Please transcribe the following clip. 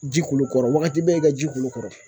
Ji k'ulo kɔrɔ wagati bɛɛ i ka ji k'ulu kɔrɔ.